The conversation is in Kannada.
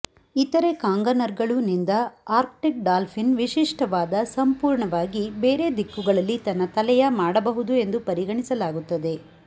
ಇತರೆ ಕಾಂಗನರ್ಗಳು ನಿಂದ ಆರ್ಕ್ಟಿಕ್ ಡಾಲ್ಫಿನ್ ವಿಶಿಷ್ಟವಾದ ಸಂಪೂರ್ಣವಾಗಿ ಬೇರೆ ದಿಕ್ಕುಗಳಲ್ಲಿ ತನ್ನ ತಲೆಯ ಮಾಡಬಹುದು ಎಂದು ಪರಿಗಣಿಸಲಾಗುತ್ತದೆ